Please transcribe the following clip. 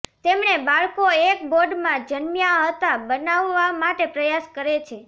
તેમણે બાળકો એક બોડ માં જન્મ્યા હતા બનાવવા માટે પ્રયાસ કરે છે